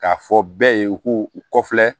K'a fɔ bɛɛ ye u k'u u kɔfɛ